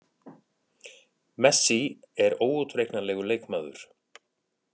Messi er óútreiknanlegur leikmaður.